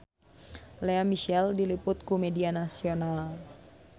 Lea Michele diliput ku media nasional